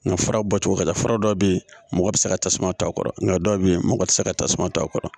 Nga fara bɔcogo ka ca fura dɔw bɛ yen mɔgɔ bɛ se ka tasuma to a kɔrɔ nka dɔw bɛ yen mɔgɔ tɛ se ka tasuma to a kɔrɔ